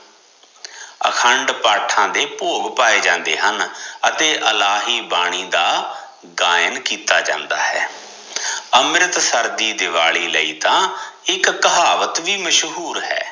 ਅਖੰਡ ਪਾਠਾਂ ਦੇ ਭੋਗ ਪਾਏ ਜਾਂਦੇ ਹਨ ਅਤੇ ਇਲਾਹੀ ਬਾਣੀ ਦਾ ਗਾਇਣ ਕੀਤਾ ਜਾਂਦਾ ਹੈ ਅਮ੍ਰਿਤਸਰ ਦੀ ਦਿਵਾਲੀ ਆਈ ਤਾਂ ਇਕ ਕਹਾਵਤ ਵੀ ਮਸ਼ਹੂਰ ਹੈ